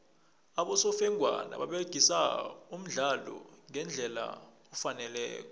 abosofengwana baragisa umdlalo ngendlela efaneleko